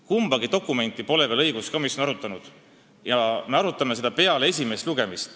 Kumbagi dokumenti pole õiguskomisjon veel arutanud, me arutame neid peale esimest lugemist.